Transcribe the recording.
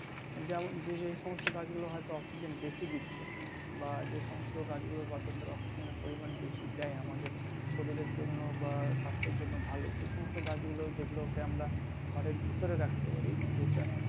যেমন যে যে সমস্ত গাছ গুলো হয়তো অক্সিজেন বেশি দিচ্ছে বা যে সমস্ত গাছ গুলো বাতাসের অক্সিজেন এর পরিমান বেশি দেয় আমাদের শরীরের জন্য বা স্বাস্থ্যের জন্য ভালো সে সমস্ত গাছগুলো যেগুলোকে আমরা ঘরের ভিতরে রাখতে পারি যেটা